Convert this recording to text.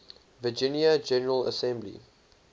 virginia general assembly